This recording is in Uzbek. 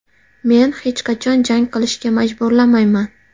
Men hech qachon jang qilishga majburlamayman.